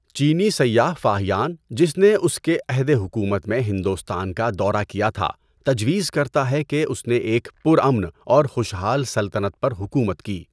چینی سیاح فاہین، جس نے اس کے عہد حکومت میں ہندوستان کا دورہ کیا تھا، تجویز کرتا ہے کہ اس نے ایک پرامن اور خوشحال سلطنت پر حکومت کی۔